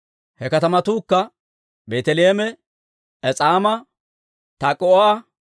He katamatuukka Beeteleeme, Es'aama, Tak'o"a,